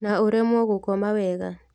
Na ũremwo gũkoma wega